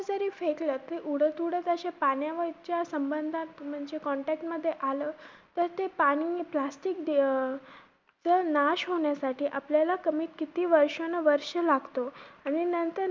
फेकलं कि ते उडत उडत अशे पाण्यावरच्या संबंधात म्हणजे contact मध्ये आलं तर ते पाणी plastic अं नाश होण्यासाठी आपल्याला कमी किती वर्षानुवर्षे लागतो. आणि नंतर हि